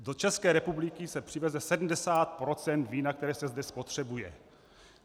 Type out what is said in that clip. Do České republiky se přiveze 70 % vína, které se zde spotřebuje.